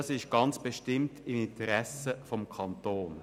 Das liegt bestimmt im Interesse des Kantons.